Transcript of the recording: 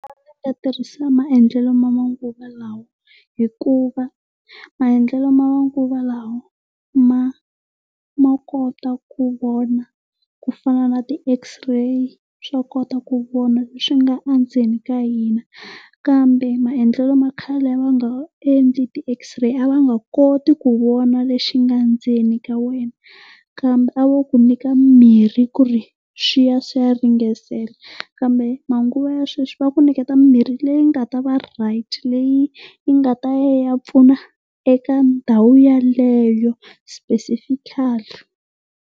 tirhisa maendlelo ma manguva lawa. Hikuva maendlelo ma manguva lawa ma ma kota ku vona ku fana na ti X-ray trade swa kota ku vona leswi nga endzeni ka hina. Kambe maendlelo ma khale a ma nga endli ti X-ray, a va nga koti ku vona lexi nga ndzeni ka wena. Kambe a vo ku nyika mimirhi ku ri swi ya swi ya ringesela. Kambe manguva ya sweswi va ku niketa mimihi leyi nga ta va right leyi yi nga ta ya yi ya pfuna eka ndhawu yeleyo specifically.